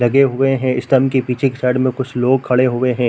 लगे हुए हैं स्टम के पीछे के साइड में कुछ लोग खड़े हुए है।